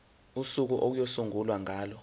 usuku okuyosungulwa ngalo